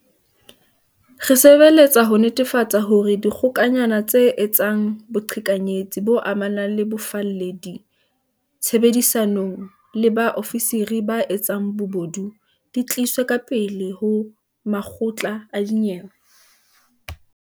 Re sebeletsa ho netefatsa hore dikgokanyana tse etsang boqhekanyetsi bo amanang le bofalledi, tshebedisanong le ba ofisiri ba etsang bobodu, di tliswe ka pele ho makgotla a dinyewe.